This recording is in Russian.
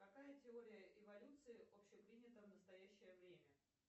какая теория эволюции общепринята в настоящее время